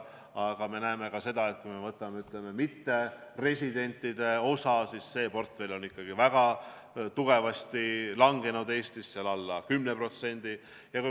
Aga me näeme ka seda, et näiteks mitteresidentide portfell on Eestis ikkagi väga tugevasti vähenenud, alla 10%.